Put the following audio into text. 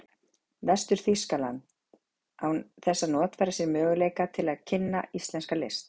Vestur-Þýskalands, án þess að notfæra sér möguleika til að kynna íslenska list.